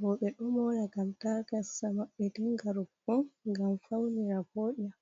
Roɓe ɗo mora gam ta gasa maɓɓe dinga rufugo, gam ɓe faunira voɗira. .